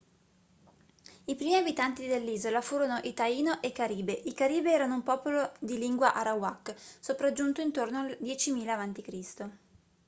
i primi abitanti dell'isola furono i taino e i caribe i caribe erano un popolo di lingua arawak sopraggiunto intorno al 10000 a.c